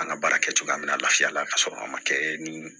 An ka baara kɛcogoya bɛna lafiya la ka sɔrɔ a ma kɛ ni